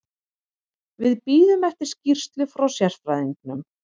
Við bíðum eftir skýrslu frá sérfræðingnum.